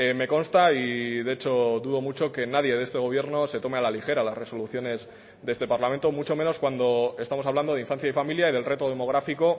me consta y de hecho dudo mucho que nadie de este gobierno se tome a la ligera las resoluciones de este parlamento mucho menos cuando estamos hablando de infancia y familia y del reto demográfico